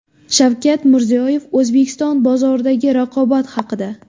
Shavkat Mirziyoyev O‘zbekiston bozoridagi raqobat haqida.